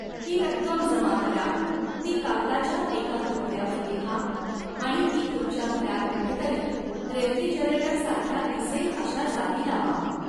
ही रक्कम जमा करा, ती कागदाच्या एका तुकड्यावर लिहा आणि ती तुमच्या घरात कुठेतरी रेफ्रिजरेटरसारख्या, दिसेल अशा जागी लावा.